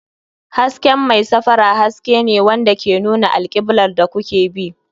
Hasken mai safara haske ne wanda ke nuna alkiblar da kuke bi.